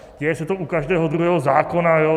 Děje se to u každého druhého zákona.